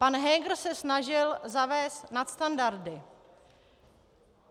Pan Heger se snažil zavést nadstandardy.